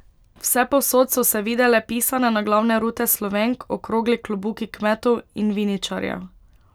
Vsepovsod so se videle pisane naglavne rute Slovenk, okrogli klobuki kmetov in viničarjev.